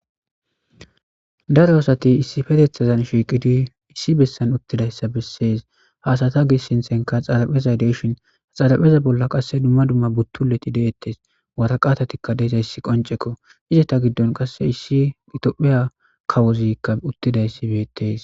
Daro asati issippetethazan shiiqidi issi bessan uttidayssa bessees haasata gis sinthenka xarapheza deshin xarapheza bolla qasse dumma dumma buttuleti deettes waraqatatikka deezayssi qoncekko izeta giddon qasse issi itopheya kawozikka uttidayssibeettes.